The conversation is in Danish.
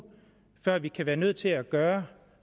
før vi kan være nødt til at gøre